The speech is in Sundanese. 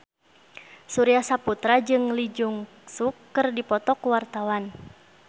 Surya Saputra jeung Lee Jeong Suk keur dipoto ku wartawan